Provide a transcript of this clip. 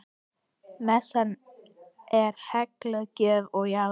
Messan er helguð gjöfum jarðar.